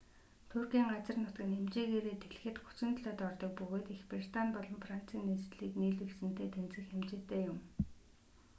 туркийн газар нутаг нь хэмжээгээрээ дэлхийд 37-д ордог бөгөөд их британи болон францын нийслэлийг нийлүүлсэнтэй тэнцэх хэмжээтэй юм